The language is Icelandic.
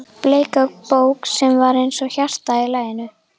Bleika bók sem var eins og hjarta í laginu?